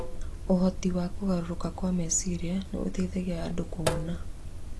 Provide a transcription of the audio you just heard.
Ũhoti wa kũgarũrũka kwa meciria nĩ ũteithagia andũ kũhona